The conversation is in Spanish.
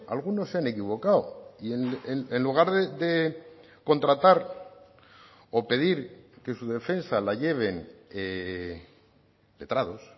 algunos se han equivocado y en lugar de contratar o pedir que su defensa la lleven letrados